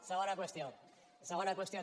segona qüestió segona qüestió